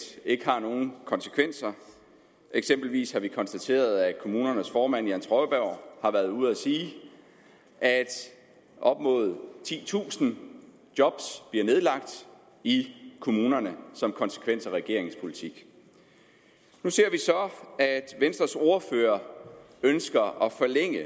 ikke har nogen konsekvenser eksempelvis har vi konstateret at kommunernes formand jan trøjborg har været ude at sige at op mod titusind job bliver nedlagt i kommunerne som konsekvens af regeringens politik nu ser vi så at venstres ordfører ønsker at forlænge